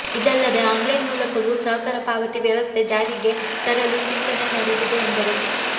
ಇದಲ್ಲದೆ ಆನ್ಲೈನ್ ಮೂಲಕವು ಸಹ ಕರ ಪಾವತಿ ವ್ಯವಸ್ಥೆ ಜಾರಿಗೆ ತರಲು ಚಿಂತನೆ ನಡೆದಿದೆ ಎಂದರು